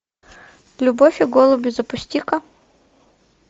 любовь и голуби запусти ка